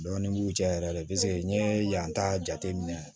Dɔɔnin b'u cɛ yɛrɛ de n'i ye yan ta jate minɛ